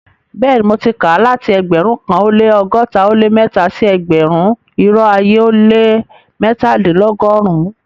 Bẹẹni, mo ti ká láti ẹgbérùn kan o lẹ́ ọgọ́ta o lẹ́ mẹ́tà sí ẹgbérùn-irò ayé o lẹ́ mẹ́tàdìnlọ́gọ́rìn-un.